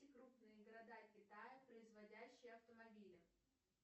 крупные города китая производящие автомобили